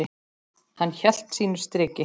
Hann hélt sínu striki.